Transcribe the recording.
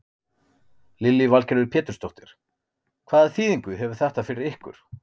Lillý Valgerður Pétursdóttir: Hvaða þýðingu hefur þetta fyrir ykkur?